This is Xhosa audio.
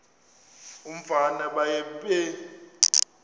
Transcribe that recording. umfana baye bee